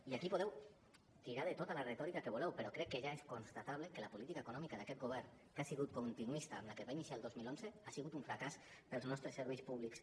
i aquí podeu tirar de tota la retòrica que vulgueu però crec que ja és constatable que la política econòmica d’aquest govern que ha sigut continuista de la que es va iniciar el dos mil onze ha sigut un fracàs per als nostres serveis públics